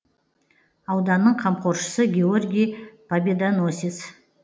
ауданның қамқоршысы георгий победоносец